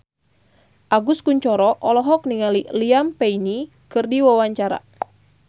Agus Kuncoro olohok ningali Liam Payne keur diwawancara